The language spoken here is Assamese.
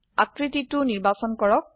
আকৃতিটো নিৰ্বাচন কৰক